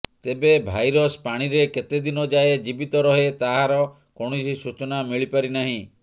ତେବେ ଭାଇରସ ପାଣିରେ କେତେ ଦିନ ଯାଏଁ ଜୀବିତ ରହେ ତାହାର କୌଣସି ସୂଚନା ମିଳିପାରି ନାହିଁ